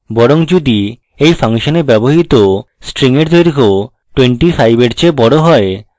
বরং যদি এই ফাংশনে ব্যবহৃত string এর দৈর্ঘ্য 25 এর চেয়ে বড় হয়